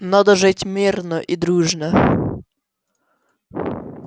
надо жить мирно и дружно